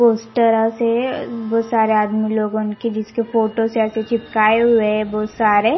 उस तरह से बहुत सारे आदमी लोगों के जिसके फोटो से ऐसे चिपकाए हुए हैं बहुत सारे.